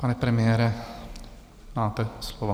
Pane premiére, máte slovo.